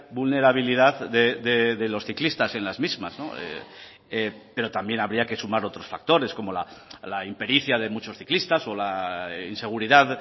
vulnerabilidad de los ciclistas en las mismas pero también habría que sumar otros factores como la impericia de muchos ciclistas o la inseguridad